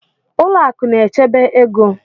Ụlọ akụ na-echebe ego